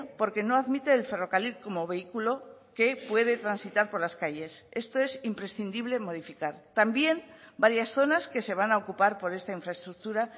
porque no admite el ferrocarril como vehículo que puede transitar por las calles esto es imprescindible modificar también varias zonas que se van a ocupar por esta infraestructura